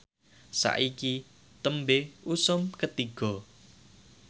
saiki tembe usum Ketiga